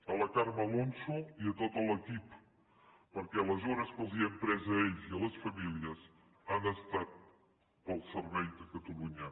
a la carme alonso i a tot l’equip perquè les hores que els hem pres a ells i a les famílies han estat pel servei a catalunya